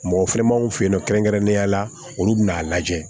Mɔgɔ finɛ ma anw fe yen nɔ kɛrɛnkɛrɛnnenya la olu bɛ n'a lajɛ